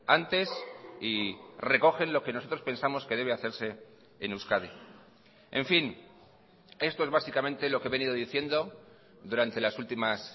antes y recogen lo que nosotros pensamos que debe hacerse en euskadi en fin esto es básicamente lo que he venido diciendo durante las últimas